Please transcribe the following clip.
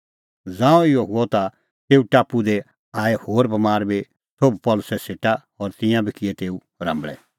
ज़ांऊं इहअ हुअ ता तेऊ टापू दी आऐ होर बमार बी सोभ पल़सी सेटा और तिंयां बी किऐ तेऊ राम्बल़ै